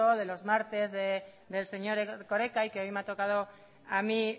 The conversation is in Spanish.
de los martes del señor erkoreka y que hoy me ha tocado a mí